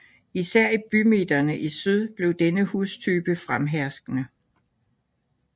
Især i bymidterne i syd blev denne hustype fremherskende